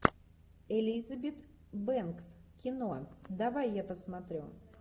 элизабет бэнкс кино давай я посмотрю